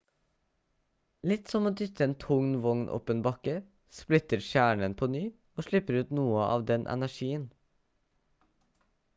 litt som å dytte en tung vogn opp en bakke splitter kjernen på ny og slipper ut noe av den energien